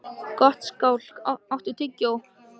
Gottskálk, áttu tyggjó?